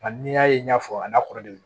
Nka n'i y'a ye n y'a fɔ a n'a kɔrɔdon